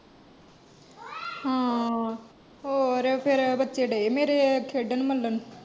ਹਾਂ, ਹੋਰ ਫੇਰ ਬੱਚੇ ਡਾਏ ਮੇਰੇ ਖੇਡਣ ਮੱਲਣ।